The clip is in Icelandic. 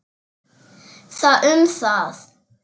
Það um það.